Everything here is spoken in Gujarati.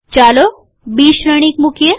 ચાલો બી શ્રેણિક મુકીએ